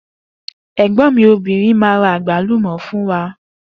Egbòn mi obìnrin máa ra àgbálùmò fún mi.